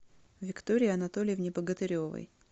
виктории анатольевне богатыревой